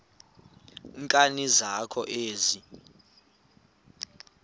nkani zakho ezi